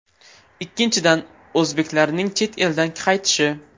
Ikkinchidan, o‘zbeklarning chet eldan qaytishi.